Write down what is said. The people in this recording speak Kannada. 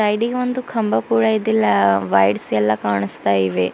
ಹಿಡಿಗ್ ಒಂದು ಕಂಬ ಕೂಡ ಇದೆ ಲ ವೈರ್ಸ್ ಎಲ್ಲಾ ಕಾಣುಸ್ತಾ ಇವೆ.